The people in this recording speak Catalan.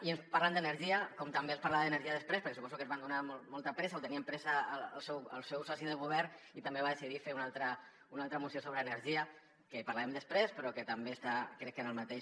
i ens parlen d’energia com també es parla d’energia després perquè suposo que tenien molta pressa o tenia pressa el seu soci de govern i també va decidir fer una altra moció sobre energia que en parlarem després però que també està crec que en el mateix